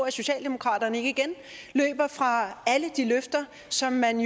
at socialdemokratiet ikke igen løber fra alle de løfter som man